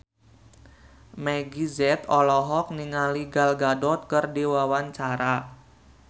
Meggie Z olohok ningali Gal Gadot keur diwawancara